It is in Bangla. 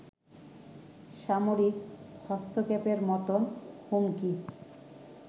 সামরিক হস্তক্ষেপের মতো হুমকি